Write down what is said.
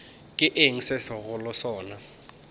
ke eng se segolo sona